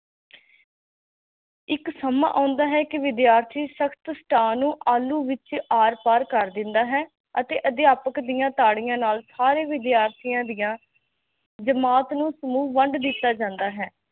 ਇਕ ਸਮਾਂ ਆਉਂਦਾ ਹੇ ਕੀ ਵਿਦਿਆਰਥੀ ਸਖ਼ਤ ਸਤਹ ਨੂੰ ਆਲੂ ਵਿਚ ਆਰ ਪਾਰ ਕਰ ਦੇਂਦਾ ਹੈ ਅਤੇ ਅਧਿਆਪਕ ਦੀਆ ਤਾੜੀਆ ਨਾਲ ਸਾਰੇ ਵਿਦਿਆਰਥਿਆ ਦੀਆ ਜਮਾਤ ਨੂੰ ਸਮੂਹ ਵੰਡ ਦਿਤਾ ਜਾਂਦਾ ਹੇ